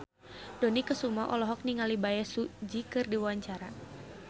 Dony Kesuma olohok ningali Bae Su Ji keur diwawancara